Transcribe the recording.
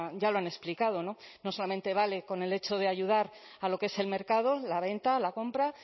ya lo han explicado no solamente vale con el hecho de ayudar a lo que es el mercado la venta la compra